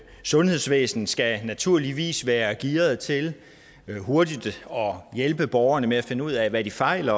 sundhedsvæsen skal naturligvis være gearet til hurtigt at hjælpe borgerne med at finde ud af hvad de fejler